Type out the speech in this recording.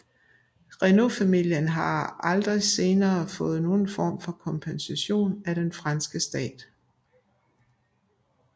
Renault familien har aldrig senere fået nogen form for kompensation af den franske stat